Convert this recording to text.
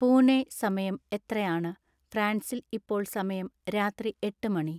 പുണെ സമയം എത്രയാണ് ഫ്രാൻസിൽ ഇപ്പോൾ സമയം രാത്രി എട്ട് മണി